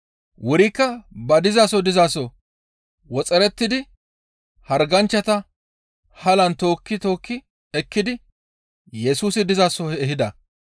Wurikka ba dizaso dizaso woxerettidi harganchchata halan tookki tookki ekkidi Yesusi dizaso ehida.